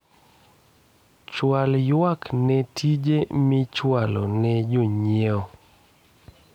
chwal ywak ne tije michwalo ne jonyiewo